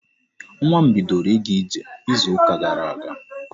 Nwa m bidoro ịga ije izu ka gara aga.